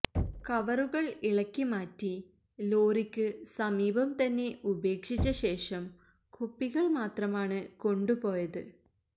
കവറുകൾ ഇളക്കിമാറ്റി ലോറിക്ക് സമീപം തന്നെ ഉപേക്ഷിച്ച ശേഷം കുപ്പികൾ മാത്രമാണ് കൊണ്ടു പോയത്